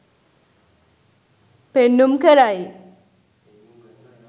පෙන්නුම් කරයි.